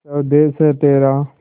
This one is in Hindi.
स्वदेस है तेरा